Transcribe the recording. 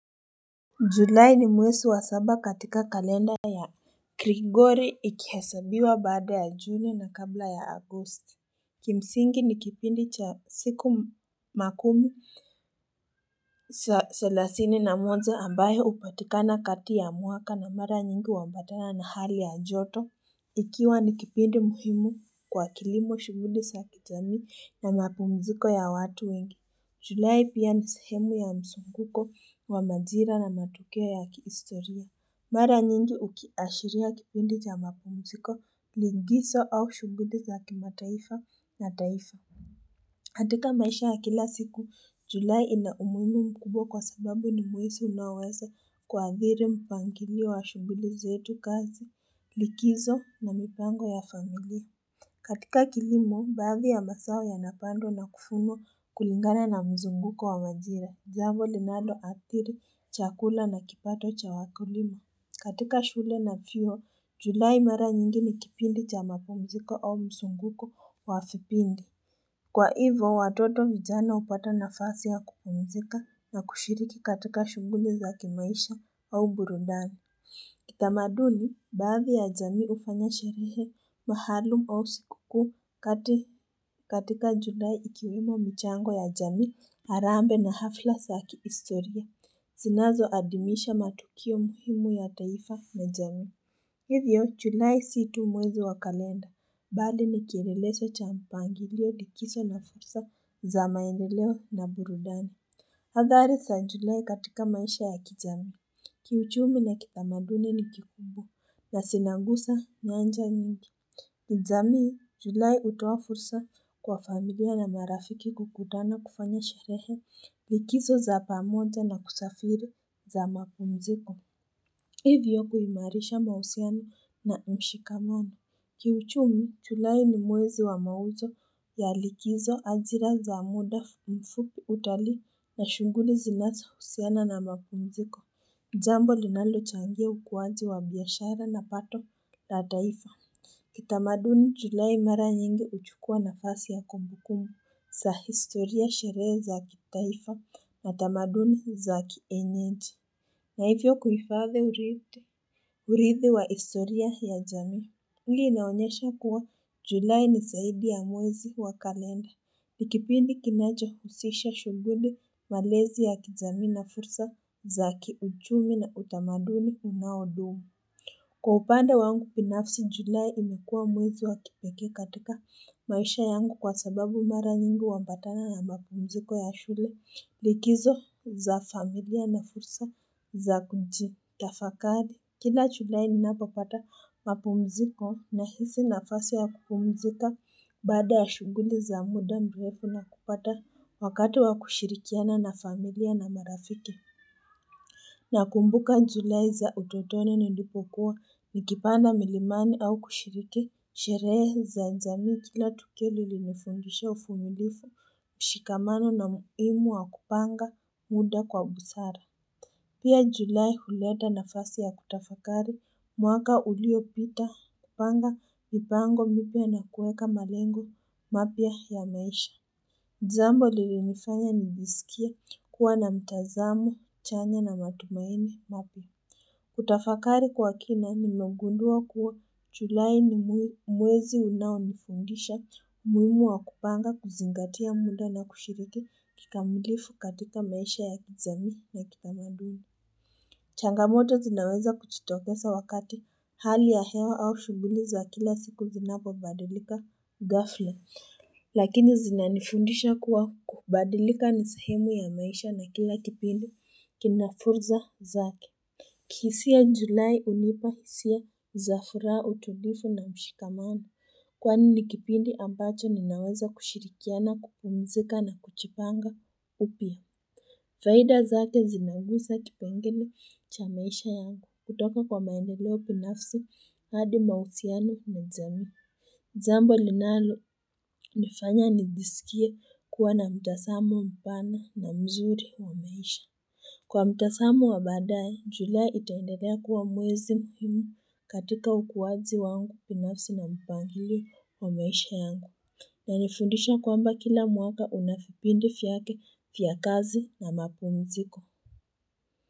Julai ni mwesi wa saba katika kalenda ya krigori ikihesabiwa baada ya juni na kabla ya agosti. Kimsingi nikipindi cha siku makumu sa salasini na moja ambao hupatikana kati ya mwaka na mara nyingi huambatana na hali ya joto. Ikiwa nikipindi muhimu kwa kilimo, shughuli sa kijamii na mapumziko ya watu wengi. Julai pia ni sehemu ya msunguko wa majira na matokeo ya kihistoria. Mara nyingi ukiashiria kipindi cha mapumziko, lingiso au shughuli za kimataifa na taifa katika maisha ya kila siku, Julai ina umuhimu mkubwa kwa sababu ni mwezi unaoweza kuadhiri mpangilio wa shughuli zetu, kazi likizo na mipango ya familia katika kilimo, baadhi ya mazao yanapandwa na kufunwa kulingana na mzunguko wa majira, jambo linaloathiri, chakula na kipato cha wakulima. Katika shule na vyuo, julai mara nyingi ni kipindi cha mapumziko au mzunguko wa fipindi. Kwa hivo, watoto vijana upata nafasi ya kupumzika na kushiriki katika shughuli za kimaisha au burudani. Kitamaduni, baadhii ya jamii ufanya sherehe maalum au siku kuu katika julai ikiwemo michango ya jamii, harambee na hafla sa kihistoria, zinazoadimisha matukio muhimu ya taifa na jamii Hivyo, julai si tu mwezi wa kalenda, bali nikieleleso cha mpangilio likiso na fursa za maendeleo na burudani Hadhari sa njulai katika maisha ya kijamii, kiuchumi na kitamaduni ni kikubwa na sinangusa nyanja nyingi. Kijamii, Julai utowa fursa kwa familia na marafiki kukutana kufanya sherehe, likizo za pamoja na kusafiri za mapumziko. Hivyo kuimarisha mahusiano na mshikamano. Kiuchumi Julai ni mwezi wa mauzo ya likizo, ajira za muda mfupi, utalii na shughuli zinasohusiana na mapumziko, jambo linalochangia ukuwaji wa biashara na pato la taifa Kitamaduni Julai mara nyingi uchukua nafasi ya kumbukumbu sa historia, sherehe za kitaifa na tamaduni za kienyeji na hivyo kuhifadhi uridhi uridhi wa historia ya jamii. Hili inaonyesha kuwa julai nisaidi ya mwezi wa kalenda. Nikipindi kinacho husisha shughuli malezi ya kijamii na fursa za kiuchumi na utamaduni unaodumu. Kwa upande wangu pinafsi julai imekua mwezi wa kipeke katika maisha yangu kwa sababu mara nyingi huambatana na mapumziko ya shule. Likizo za familia na fursa za kujitafakari. Kila chulai ninapopata mapumziko nahisi nafasi wa kupumzika Baada ya shughuli za muda mrefu na kupata wakati wa kushirikiana na familia na marafiki na kumbuka njulai za utotoni nilipokuwa nikipanda milimani au kushiriki Sherehe za jamii kila tukio lilinifundisha ufumilifu, mshikamano na muimu wa kupanga muda kwa busara. Pia julai huleta nafasi ya kutafakari mwaka uliopita, kupanga mipango mipya na kueka malengo mapya ya maisha. Jambo lilinifanya nijisikie kuwa na mtazamo chanya na matumaini mapya. Kutafakari kwa kina nimegundua kuwa chulai ni mwezi unaonifundisha umuhimu wa kupanga kuzingatia muda na kushiriki kikamilifu katika maisha ya kijamii na kitamaduni changamoto zinaweza kuchitokesa wakati hali ya hewa au shughuli za kila siku zinapobadilika ghafla Lakini zina nifundisha kuwa kubadilika nisehemu ya maisha na kila kipindi kina furza zake kihisia Julai unipahisia za furaha, utulifu na mshikamano. Kwani ni kipindi ambacho ninaweza kushirikiana, kupumzika na kuchipanga upya. Faida zake zinagusa kipengele cha maisha yangu. Kutoka kwa maendeleo pinafsi hadi mahusiano na jamii. Jambo linalonifanya nijisikie kuwa na mtasamo mpana na mzuri wa maisha. Kwa mtasamo wa baadaye julai itaendelea kuwa mwezi muhimu katika ukuwaji wangu pinafsi na mpangilio wa maisha yangu inanifundisha kwamba kila mwaka unafipindi fyake fyakazi na mapumziko.